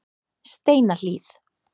Steinahlíð